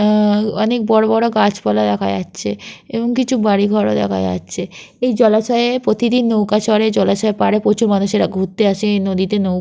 আহ অনেক বড় বড় গাছপালা দেখা যাচ্ছে এবং কিছু বাড়িঘর ও দেখা যাচ্ছে। এই জলাশয়ে প্রতিদিন নৌকা চড়ে জলাশয়ের পাড়ে প্রচুর মানুষেরা ঘুরতে আসে নদীতে নৌ--